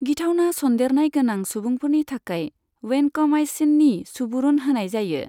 गिथावना सन्देरनाय गोनां सुबुंफोरनि थाखाय, वैनक'माइसिननि सुबुरुन होनाय जायो।